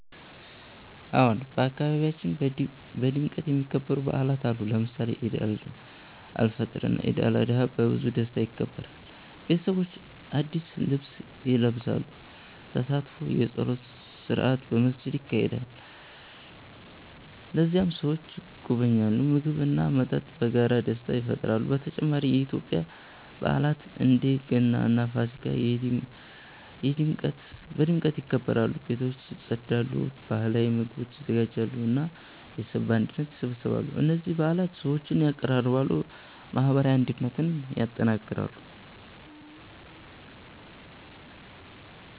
አዎን፣ በአካባቢያችን በድምቀት የሚከበሩ በዓላት አሉ። ለምሳሌ ኢድ አልፈጥር እና ኢድ አልአድሃ በብዙ ደስታ ይከበራሉ። ቤተሰቦች አዲስ ልብስ ይለብሳሉ፣ ተሳትፎ የጸሎት ስርዓት በመስጊድ ይካሄዳል። ከዚያም ሰዎች ይጎበኛሉ፣ ምግብ እና መጠጥ በመጋራት ደስታ ይፈጥራሉ። በተጨማሪ የኢትዮጵያ በዓላት እንደ ገና እና ፋሲካ በድምቀት ይከበራሉ። ቤቶች ይጸዳሉ፣ ባህላዊ ምግቦች ይዘጋጃሉ እና ቤተሰብ በአንድነት ይሰበሰባሉ። እነዚህ በዓላት ሰዎችን ያቀራርባሉ እና የማህበራዊ አንድነትን ያጠናክራሉ።